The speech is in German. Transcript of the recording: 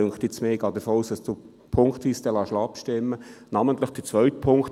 Ich gehe davon aus, dass Sie punktweise abstimmen lassen werden.